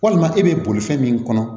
Walima e bɛ bolifɛn min kɔnɔ